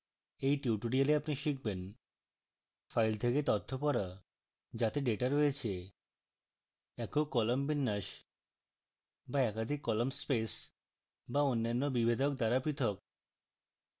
in tutorial আপনি শিখবেন